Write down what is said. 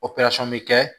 bɛ kɛ